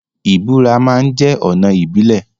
Ìburá ma ń jẹ́ ọ̀nà ìbílẹ̀.